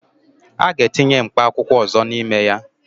A ga-etinye mkpa akwụkwọ ọzọ n'ime ya?